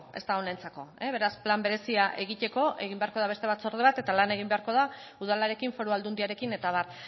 ez da honentzako beraz plan berezia egiteko egin beharko da beste batzorde bat eta lan egin beharko da udalarekin foru aldundiarekin eta abar